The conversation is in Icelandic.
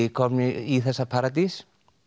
kominn í þessa paradís